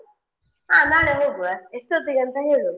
ಹಾ ನಾಳೆ ಹೋಗುವ ಎಷ್ಟೊತ್ತಿಗೆ ಅಂತ ಹೇಳು.